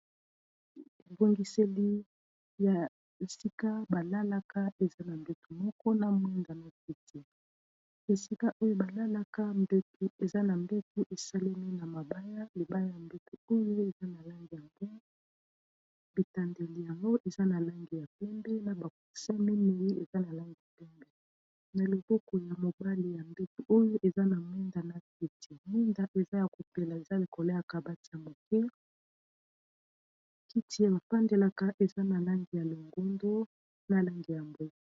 Ebongiseli ya sika balalaka eza na mbetu moko na mwenda na esika oyo balalaka mbetu eza na mbetu esalemi na mabaya libaya ya mbetu oyo eza na langi ya mboya bitandeli yango eza na langi ya pembe na coussin mineyi eza na langi pembe na loboko ya mobali ya mbetu oyo eza na mwenda neti mwinda eza ya kopela eza lokola kabati ya moke kiti bafandelaka eza na langi ya longondo na langi ya mbwe